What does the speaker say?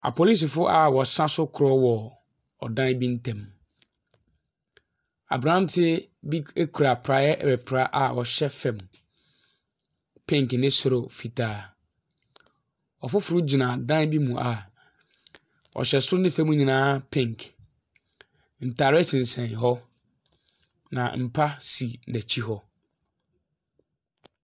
Apolisifoɔ a wɔsa so korɔ wɔ ɛdan bio ntam, aberanteɛ bi kura paeɛ repra a ɔhyɛ fam pink ne soro fitaa. Ɔfoforɔ gyina dan bi mu, a ɔhyɛ soro ne fam nyinaa pink. Ntadeɛ sensɛn hɔ, na mpa si n'akyi hɔ.